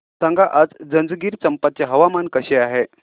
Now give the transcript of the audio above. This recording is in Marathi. सांगा आज जंजगिरचंपा चे हवामान कसे आहे